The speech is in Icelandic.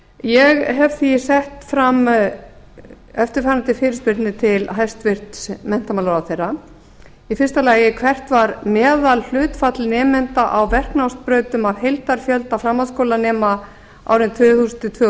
ég hef því sett fram eftirfarandi fyrirspurnir til hæstvirts menntamálaráðherra fyrstu hvert var meðalhlutfall nemenda á verknámsbrautum af heildarfjölda framhaldsskólanemenda árin tvö þúsund til tvö